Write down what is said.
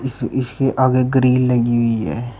इस इसके आगे ग्रील लगी हुई है।